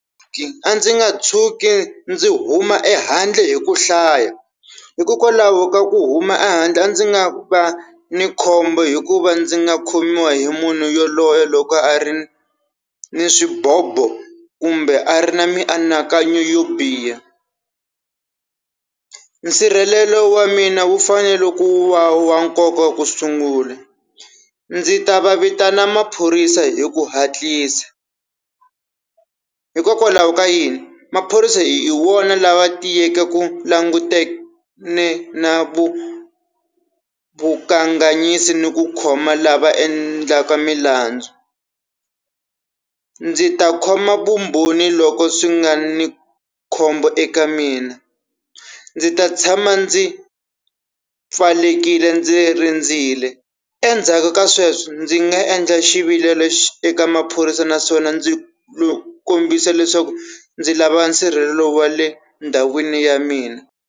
A ndzi nga tshuki ndzi huma ehandle hi ku hlaya, hikokwalaho ka ku huma ehandle a ndzi nga va ni khombo hikuva ndzi nga khomiwa hi munhu yaloye loko a ri ni swibobo kumbe a ri na mianakanyo yo biha. Nsirhelelo wa mina wu fanele ku va wa nkoka ku sungula. Ndzi ta va vitana maphorisa hi ku hatlisa, hikokwalaho ka yini maphorisa hi wona lava tiyeke ku langutene na vu vukanganyisi ni ku khoma lava endlaka milandzu. Ndzi ta khoma vumbhoni loko swi nga ni khombo eka mina, ndzi ta tshama ndzi pfalekile ndzi rindzilo endzhaku ka sweswo ndzi nga endla xivilelo eka maphorisa naswona ndzi ku kombisa leswaku ndzi lava nsirhelelo wa le ndhawini ya mina.